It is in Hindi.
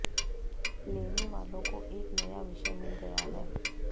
लेनेवालों को एक नया विषय मिल गया है